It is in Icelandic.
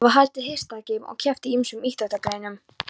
Það var haldið hestaþing og keppt í ýmsum íþróttagreinum.